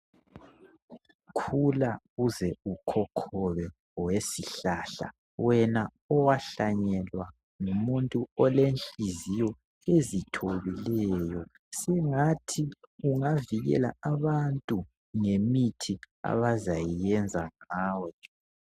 Khula uze ukhokhobe wesihlahla wena owahlanyelwa ngumuntu olenhliziyo ezithobileyo sengathi ungavikela abantu ngemithi abazayiyenza ngawe.